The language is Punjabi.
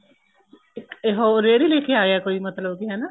ਇਹ ਉਹ ਰੇੜੀ ਲੈਕੇ ਆਗਿਆ ਕੋਈ ਮਤਲਬ ਕੀ ਹਨਾ